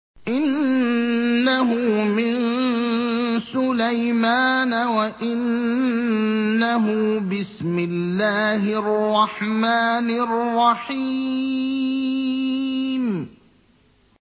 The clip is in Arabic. إِنَّهُ مِن سُلَيْمَانَ وَإِنَّهُ بِسْمِ اللَّهِ الرَّحْمَٰنِ الرَّحِيمِ